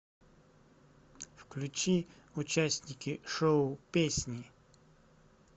включи участники шоу песни